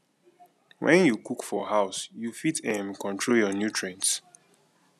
when you cook for house you fit um control your nutrient